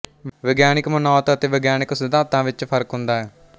ਵਿਗਿਆਨਕ ਮਨੌਤ ਅਤੇ ਵਿਗਿਆਨਕ ਸਿਧਾਂਤ ਵਿੱਚ ਫ਼ਰਕ ਹੁੰਦਾ ਹੈ